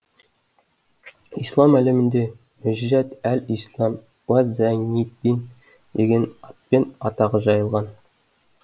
ислам әлемінде мөжжат әл ислам уа зайниддин деген атпен атағы жайылған